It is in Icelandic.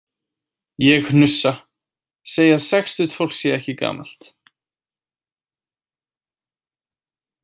Ég hnussa, segi að sextugt fólk sé ekki gamalt.